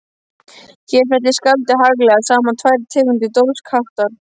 Hér fellir skáldið haglega saman tvær tegundir dólgsháttar